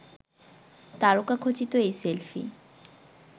তারকাখচিত এই সেলফি